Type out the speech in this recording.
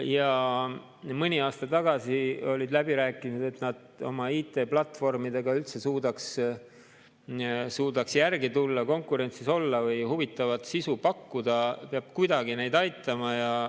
Ja mõni aasta tagasi olid läbirääkimised: selleks, et nad oma IT-platvormidega üldse suudaks järele tulla ja konkurentsis olla või huvitavat sisu pakkuda, peab kuidagi neid aitama.